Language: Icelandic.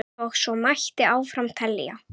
Og svo mætti áfram telja.